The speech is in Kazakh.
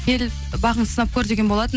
кел бағыңды сынап көр деген болатын